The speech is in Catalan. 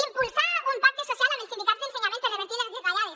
impulsar un pacte social amb els sindicats d’ensenyament per revertir les retallades